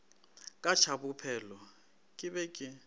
ka tšabophelo ke be ke